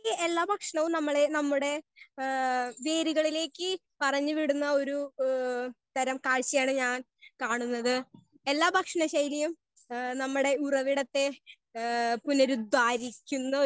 Speaker 1 ഈ എല്ലാം ഭക്ഷണവും നമ്മളെ നമ്മുടെ ആ വീടുകളിലേക്ക് പറഞ്ഞു വിടുന്ന ഒര് ഏ തരം കാഴ്ചയാണ് ഞാൻ കാണുന്നത്. എല്ലാം ഭക്ഷണം ശൈലി യും നമ്മുടെ ഉറവിടെത്തെ പുണരുദ്ധരിക്കുന്ന ഒര്